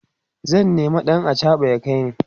zan nema ɗan achaɓa ya kaini